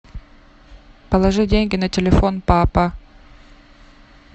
положи деньги на телефон папа